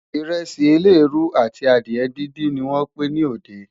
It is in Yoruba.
iresi eleruu àti adìe dindin ní wón Pin ní òde